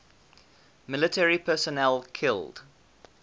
military personnel killed